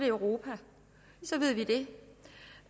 europa så ved vi det